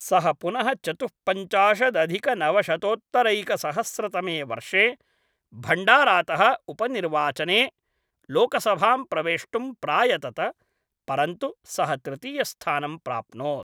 सः पुनः चतुःपञ्चाशदधिकनवशतोत्तरैकसहस्रतमे वर्षे भण्डारातः उपनिर्वाचने लोकसभां प्रवेष्टुं प्रायतत, परन्तु सः तृतीयस्थानं प्राप्नोत्।